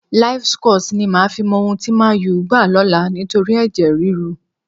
Livescores ni màá fi mọ ohun tí Man Utd gbá lọ́la nítorí ẹ̀jẹ̀ ríru.